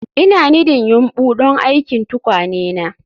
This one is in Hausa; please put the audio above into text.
Ina nidding yumbu don aikin tukwane na